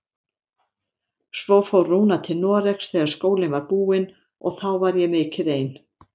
Svo fór Rúna til Noregs þegar skólinn var búinn og þá var ég mikið ein.